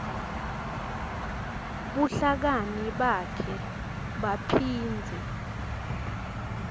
buhlakani bakhe baphindze